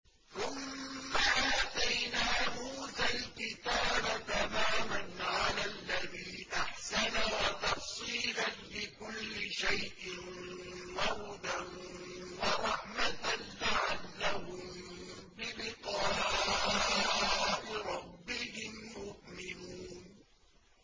ثُمَّ آتَيْنَا مُوسَى الْكِتَابَ تَمَامًا عَلَى الَّذِي أَحْسَنَ وَتَفْصِيلًا لِّكُلِّ شَيْءٍ وَهُدًى وَرَحْمَةً لَّعَلَّهُم بِلِقَاءِ رَبِّهِمْ يُؤْمِنُونَ